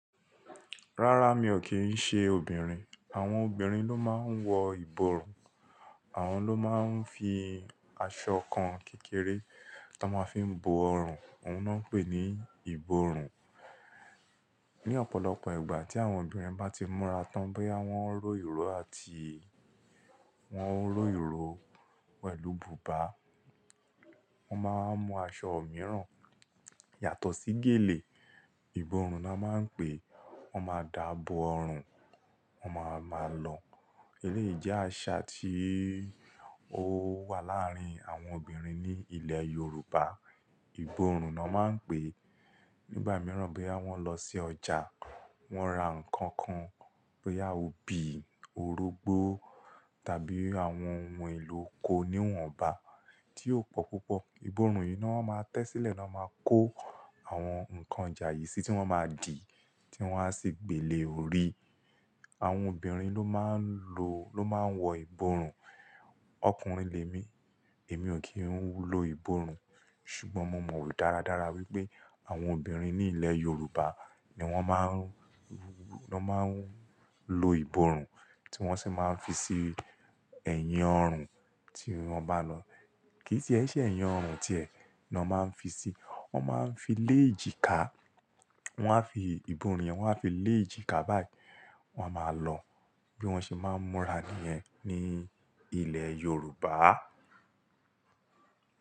Rárá, mi ò kí ń ṣe obìnrin. Àwọn obìnrin ló máa ń wọ ìborùn. Àwọn ló máa ń fi aṣọ kan kékeré tó máa ń fi bo ọrùn, òun ló máa ń pè ní ìborùn. Ní ọ̀pọ̀lọpọ̀ ìgbà tí àwọn obìnrin bá ti múra tán bóyá wọ́n ń ró ìró àti wọ́n ń ró ìró pẹ̀lú bùbá, wọ́n máa ń mu aṣọ mìíràn yàtọ̀ sí gèlè, ìborùn la máa ń pè é. Wọ́n máa dà bo ọrùn, wọ́n máa máa lọ. Eléyìí jẹ́ àṣà tí ó wà láàárín àwọn obìnrin ní ilẹ̀ Yorùbá. Ìborùn na máa ń pè. Nígbà mìíràn bóyá wọ́n lọ sí ọjà, wọ́n ra nǹkan kan, bóyá óbí orógbó tàbí àwọn ohun èlò ko níwọ̀nba tí ó pọ̀ púpọ̀. Ìborùn yìí ni wọ́n máa tẹ́ sílẹ̀ ni wọ́n máa kó àwọn nǹkan ojàyìí sí tí wọ́n máa dì tí wọ́n á sì gbélé orí. Àwọn obìnrin ló máa ń lo ló máa ń wọ ìborùn. Ọkùnrin lè mí, èmi ò kí ń lo ìborùn. Ṣùgbọ́n mo mọ̀ dáradára wípé àwọn obìnrin ní ilẹ̀ Yorùbá ni wọ́n máa ń wọ́n máa ń lo ìborùn tí wọ́n sì máa ń fi sí ẹ̀yìn ọrùn tí wọ́n bá lọ. Kì í tie ẹ́ ṣé ẹ̀yìn ọrùn tiẹ̀ ni wọ́n máa ń fi sí, wọ́n máa ń fi lé èjìká, wọ́n á fi ìborùn yẹn wọ́n á fi lé èjìká báyìí, wọ́n á máa lọ. Bí wọ́n ṣe máa ń múra nìyẹn ní ilẹ̀ Yorùbá.